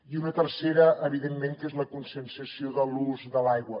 i una tercera evidentment que és la conscienciació de l’ús de l’aigua